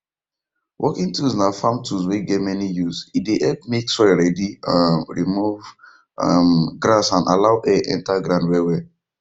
working tools na farm tool wey get many usee dey help make soil ready um remove um grass and allow air enter ground wellwell